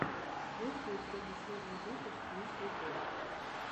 есть ли у тебя последний выпуск мисс николь